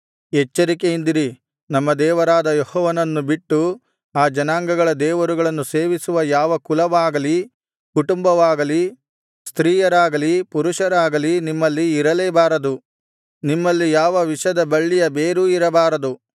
ಎಚ್ಚರಿಕೆಯಿಂದಿರಿ ನಮ್ಮ ದೇವರಾದ ಯೆಹೋವನನ್ನು ಬಿಟ್ಟು ಆ ಜನಾಂಗಗಳ ದೇವರುಗಳನ್ನು ಸೇವಿಸುವ ಯಾವ ಕುಲವಾಗಲಿ ಕುಟುಂಬವಾಗಲಿ ಸ್ತ್ರೀಯರಾಗಲಿ ಪುರುಷರಾಗಲಿ ನಿಮ್ಮಲ್ಲಿ ಇರಲೇ ಬಾರದು ನಿಮ್ಮಲ್ಲಿ ಯಾವ ವಿಷದ ಬಳ್ಳಿಯ ಬೇರೂ ಇರಬಾರದು